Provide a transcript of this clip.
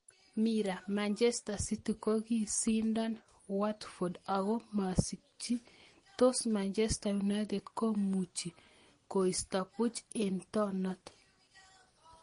(Mirror) Manchester City kokisindon Watford ako masikchi tos Manchester United komuchi koisto puch eng tonot.